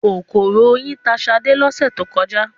Kòkòrò oyin ta ṣadé lọ́sẹ̀ tó kọjá.